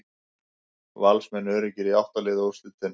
Valsmenn öruggir í átta liða úrslitin